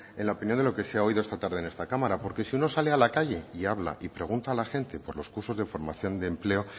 en la opinión de lo que se ha oído esta tarde en esta cámara porque si uno sale a la calle y habla y pregunta a la gente por los cursos de formación de empleo